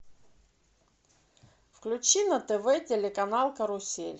включи на тв телеканал карусель